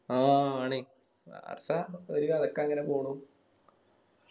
ആഹ് ആണി ബാഴ്‌സ ഒരു കരക്കങ്ങനെ പോണു